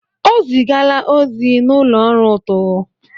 O zigala ozi n'ụlọ ọrụ ụtụ.